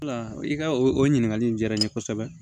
Wala i ka o ɲininkali in diyara n ye kosɛbɛ